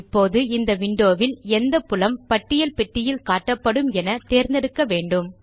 இப்போது இந்த விண்டோ வில் எந்த புலம் பட்டியல் பெட்டியில் காட்டப்படும் என தேர்ந்தெடுக்க வேண்டும்